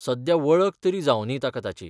सध्या वळख तरी जावं दी ताका ताची.